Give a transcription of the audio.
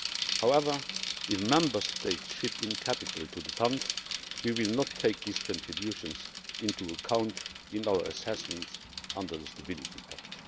However, if Member States chip in capital to the Fund, we will not take these contributions into account in our assessments under the Stability Pact.